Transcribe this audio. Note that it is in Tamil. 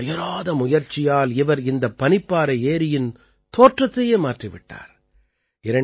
தனது அயராத முயற்சியால் இவர் இந்த பனிப்பாறை ஏரியின் தோற்றத்தையே மாற்றி விட்டார்